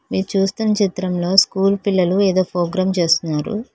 మీరు చూస్తున్న చిత్రంలో స్కూల్ పిల్లలు ఏదో ప్రోగ్రాం చేస్తున్నారు.